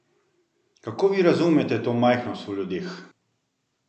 Kako vi razumete to majhnost v ljudeh?